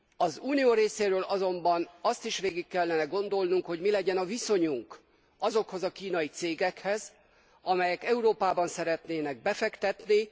Az unió részéről azonban azt is végig kellene gondolnunk, hogy mi legyen a viszonyunk azokhoz a kínai cégekhez, amelyek Európában szeretnének befektetni.